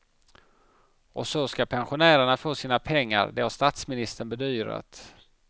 Och så ska pensionärerna få sina pengar, det har statsministern bedyrat.